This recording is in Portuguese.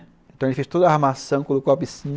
Então ele fez toda a armação, colocou a piscina.